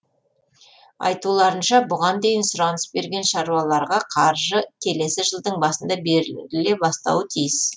айтуларынша бұған дейін сұраныс берген шаруаларға қаржы келесі жылдың басында беріле бастауы тиіс